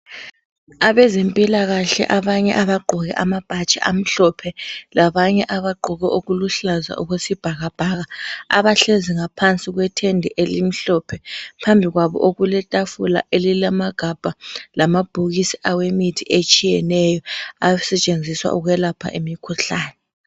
Abezempilakahle abanye abagqoke amabhatshi amhlophe labanye abagqoke okuluhlaza okwesibhakabhaka abahlezi ngaphansi kwetende elimhlophe phambi kwab okuletafula elilamagabha lamabhokisi awemithi etshiyeneyo asetshenziswa ukulapha imikhuhlane.